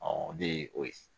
o de ye o ye